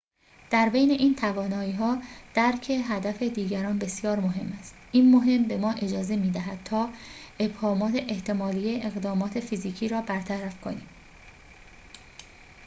در بین این توانایی‌ها درک هدف دیگران بسیار مهم است این مهم به ما اجازه می‌دهد تا ابهامات احتمالی اقدامات فیزیکی را برطرف کنیم